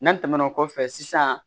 N'an tɛmɛna o kɔfɛ sisan